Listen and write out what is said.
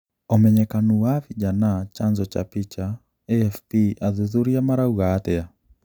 ũmenyekanu wa Vijana Chanzo cha picha, AFP athuthurĩa marauga atia?